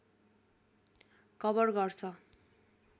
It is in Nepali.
कभर गर्छ